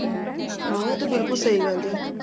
ਉਹ ਤੇ ਬਿਲਕੁਲ ਸਹੀਂ ਗੱਲ ਏ